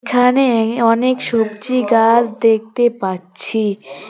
এখানে অনেক সবজি গাছ দেখতে পাচ্ছি।